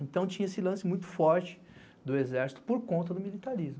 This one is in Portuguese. Então tinha esse lance muito forte do Exército por conta do militarismo.